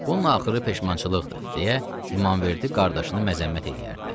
Bunun axırı peşmançılıqdır, deyə İmamverdi qardaşını məzəmmət eləyərdi.